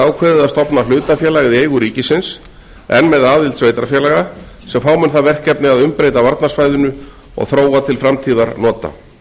ákveðið að stofna hlutafélag í eigu ríkisins en með aðild sveitarfélaga sem fá mun það verkefni að umbreyta varnarsvæðinu og þróa til framtíðarnota